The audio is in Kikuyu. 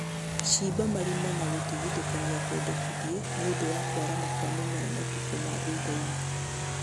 Shimba marima na gũtigithũkania kwendekithie nĩũndũ wa kwarama kwa mũmera matukũ ma thuthainĩ